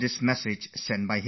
That's how I feel about it